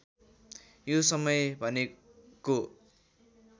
यो समय भनेको